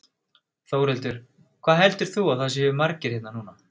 Þórhildur: Hvað heldur þú að það séu margir hérna núna?